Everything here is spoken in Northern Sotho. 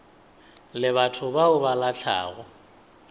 le batho ba ba lahlago